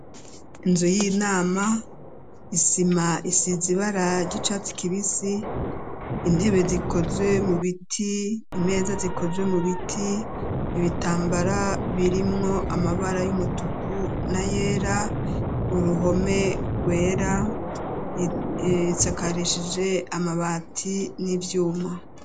Inzu y'inama ,isima isizibara ry'icatsi kibisi, intebe zikozwe mubiti, imeza zikozwe mu biti, ibitambara birimwo Amabara y'umutuku, na yera ,uruhome rwera ,itsakarishije Amabati n'ivyuma.